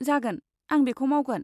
जागोन, आं बेखौ मावगोन।